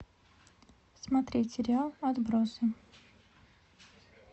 смотреть сериал отбросы